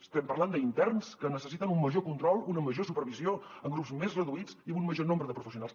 estem parlant d’interns que necessiten un major control una major supervisió en grups més reduïts i amb un major nombre de professionals